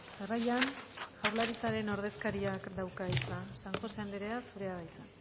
jarraian jaurlaritzaren ordezkariak dauka hitza san josé anderea zurea da hitza